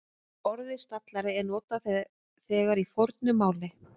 Orðið stallari er notað þegar í fornu máli.